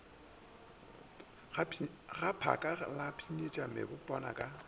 gaphaka la pshinyetša mebotwana ka